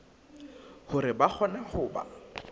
hore ba kgone ho ba